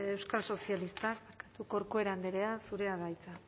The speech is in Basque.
euskal sozialistak corcuera andrea zurea da hitza